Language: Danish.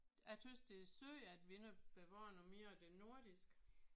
Jeg synes det er synd at vi ikke har bevaret noget mere af det nordiske